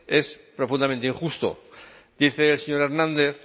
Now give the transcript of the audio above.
es profundamente injusto dice el señor hernández